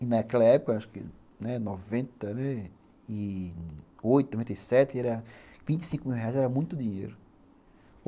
Naquela época, acho que em noventa e oito, noventa e sete, vinte e cinco mil reais era muito dinheiro.